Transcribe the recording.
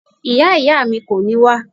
Ìyá ìyá mi kò ní wá